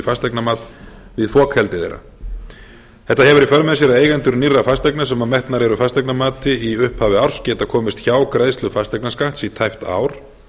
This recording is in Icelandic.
fasteignamat við fokheldi þeirra þetta hefur í för með sér að eigendur nýrra fasteigna sem metnar eru fasteignamati í hafi árs geta komist hjá greiðslu fasteignaskatts í tæpt ár